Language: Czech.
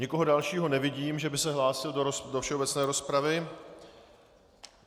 Nikoho dalšího nevidím, že by se hlásil do všeobecné rozpravy.